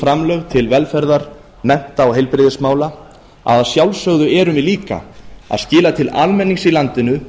framlög til velferðar mennta og heilbrigðismála að að sjálfsögðu erum við líka að skila til almennings í landinu